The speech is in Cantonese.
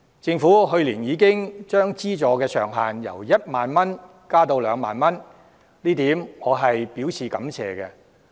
政府去年已將資助上限由1萬元增至2萬元，我對此表示感謝。